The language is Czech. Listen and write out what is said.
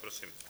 Prosím.